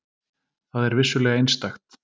Það er vissulega einstakt.